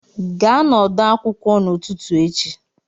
Gaa n'ọdọ akwụkwọ n'ụtụtụ echi!